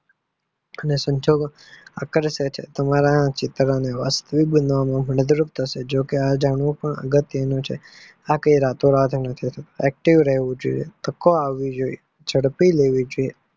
અને સંજોગો આકર્ષક છે તમારું ચીડવથી વાસ્તવિકતા જો કે આ જાણવું પણ અગત્ત્યનું છે આ રાતોરાત નથી થતું active રેહવું જોઈએ ને તકો આપવી જોઈએ ઝડપી લેવી જોઈએ.